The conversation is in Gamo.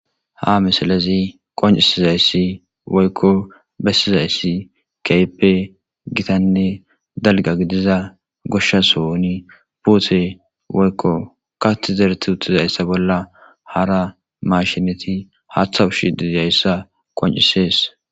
Ha misalazi qoncisizayssi woykko bessizayssi keyppe gitanne dalga gidiza goshshasouni buute woykko kati zereti uttizayssa bolla hara mashineti haathawushi didayssa qoncisees.